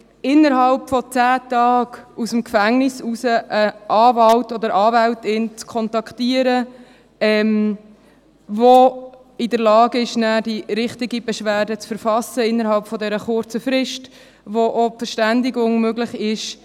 Innerhalb von 10 Tagen aus dem Gefängnis heraus einen Anwalt oder eine Anwältin zu kontaktieren, der oder die in der Lage ist, nachher die richtige Beschwerde zu verfassen und mit dem oder der auch die Verständigung möglich ist: